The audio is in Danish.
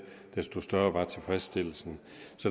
desto større var tilfredsstillelsen